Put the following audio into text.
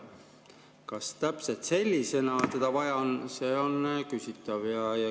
Kas täpselt sellisena seda vaja on, see on küsitav.